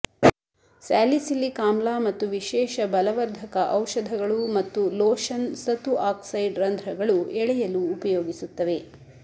salicylic ಆಮ್ಲ ಮತ್ತು ವಿಶೇಷ ಬಲವರ್ಧಕ ಔಷಧಗಳು ಮತ್ತು ಲೋಷನ್ ಸತು ಆಕ್ಸೈಡ್ ರಂಧ್ರಗಳು ಎಳೆಯಲು ಉಪಯೋಗಿಸುತ್ತವೆ